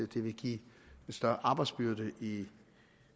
det vil give en større arbejdsbyrde